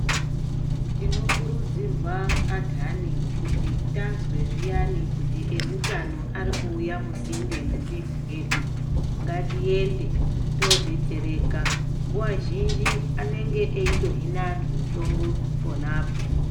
Tinokurudzirwa anhani kuti tazwe zviyani kuti eutano arikuuya musinde mwemizi yedu ngatiyende todetsereka nguwa zhinji anenge eitohina anhu mitombo ponapo.